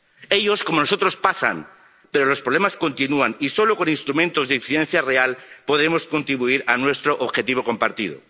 Ellos, como nosotros, pasan, pero los problemas continúan, y solo con instrumentos de incidencia real podemos contribuir a nuestro objetivo compartido.